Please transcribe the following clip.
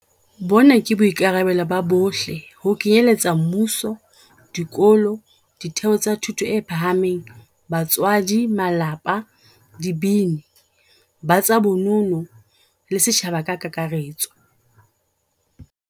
Bona ke boikarabelo ba bohle ho kenyeletsa mmuso, dikolo, ditheo tsa thuto e phahameng, batswadi, malapa, dibini, ba tsa bono no, le setjhaba ka kakaretso.